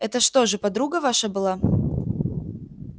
это что же подруга ваша была